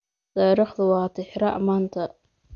Taariikhdu waa tixraac maanta.